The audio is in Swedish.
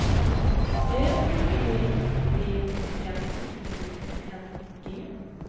Ö P P N I N G